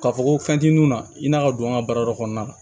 K'a fɔ ko fɛn t'i nun na i n'a ka don an ka baarada kɔnɔna na